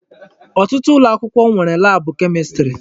Ọtụtụ ụlọakwụkwọ nwere laabụ Kemistri.